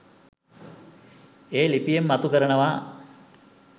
ඒ ලිපියෙන් මතු කරනවා.